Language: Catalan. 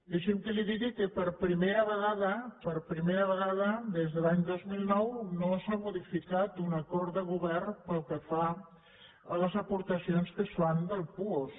deixi’m que li digui que per primera vegada per primera vegada des de l’any dos mil nou no s’ha modificat un acord de govern pel que fa a les aportacions que es fan del puosc